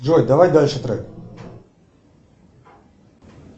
джой давай дальше трек